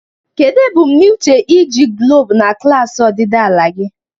Kedu ebumnuche iji guloobu na klaasị ọdịdị ala gị?